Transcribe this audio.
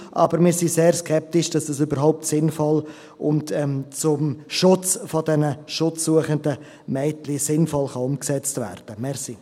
Doch wir sind sehr skeptisch, dass es überhaupt sinnvoll ist und zum Schutz dieser schutzsuchenden Mädchen sinnvoll umgesetzt werden kann.